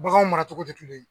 Baganw mara cogo tɛ kelen ye.